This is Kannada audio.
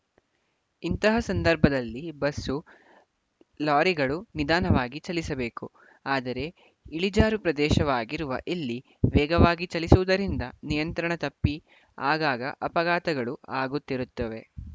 ಇಂತಹ ಸಂದರ್ಭದಲ್ಲಿ ಬಸ್ಸು ಲಾರಿಗಳು ನಿಧಾನವಾಗಿ ಚಲಿಸಬೇಕು ಆದರೆ ಇಳಿಜಾರು ಪ್ರದೇಶವಾಗಿರುವ ಇಲ್ಲಿ ವೇಗವಾಗಿ ಚಲಿಸುವುದರಿಂದ ನಿಯಂತ್ರಣ ತಪ್ಪಿ ಆಗಾಗ ಅಪಘಾತಗಳು ಆಗುತ್ತಿರುತ್ತವೆ